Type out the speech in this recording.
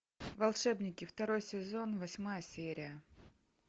волшебники второй сезон восьмая серия